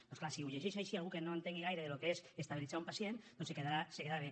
doncs clar si ho llegeix així algú que no entengui gaire del que és estabilitzar un pacient doncs es quedarà bé